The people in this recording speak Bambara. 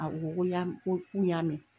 A ko ko k'u y'a mɛn